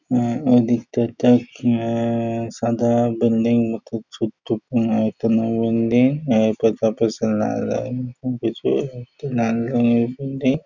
অ্যাঁ ওদিকটা একটা হু- সাদা বিল্ডিং মতো বিল্ডিং --]